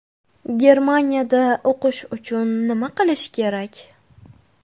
Germaniyada o‘qish uchun nima qilish kerak?